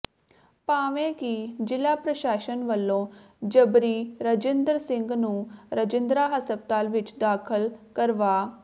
ਭਾਵੇਂ ਕਿ ਜ਼ਿਲ੍ਹਾ ਪ੍ਰਸ਼ਾਸਨ ਵਲੋਂ ਜਬਰੀ ਰਾਜਿੰਦਰ ਸਿੰਘ ਨੂੰ ਰਾਜਿੰਦਰਾ ਹਸਪਤਾਲ ਵਿਚ ਦਾਖਲ ਕਰਵਾ